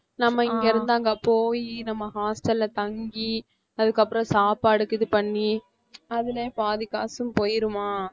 நம்ம இங்க இருந்து அங்க போயி நம்ம hostel அ தங்கி அதுக்கப்புறம் சாப்பாடுக்கு இது பண்ணி அதிலேயே பாதி காசும் போயிடுமா